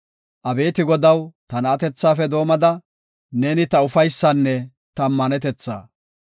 Abeeti Godaw, ta na7atethafe doomada, neeni ta ufaysaanne ta ammanetetha.